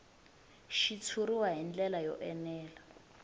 xitshuriwa hi ndlela yo enela